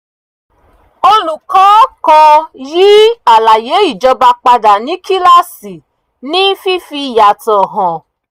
olùkọ́ kan yí àlàyé ìjọba padà ní kíláàsì ní fífi yàtọ̀ hàn